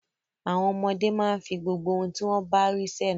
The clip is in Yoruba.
Àwọn ọmọdé máa ń fi gbogbo ohun tí wọ́n bá rí sẹ́nu.